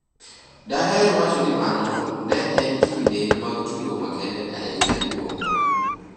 "Daher wacho ni mano ne en kinde mag tugo makende ahinya kuomwa.